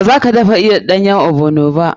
Ba za ka iya dafa ɗanyen ogbono ba.